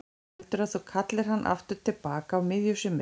Heldurðu að þú kallir hann aftur til baka á miðju sumri?